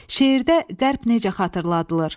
Şeirdə qərb necə xatırladılır?